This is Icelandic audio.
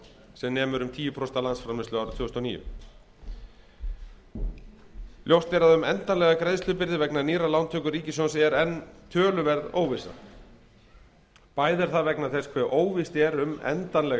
sem nemur um tíu prósent af landsframleiðslu árið tvö þúsund og níu ljóst er að um endanlega greiðslubyrði vegna nýrrar lántöku ríkissjóðs er enn töluverð óvissa bæði er það vegna þess hve óvíst er um endanleg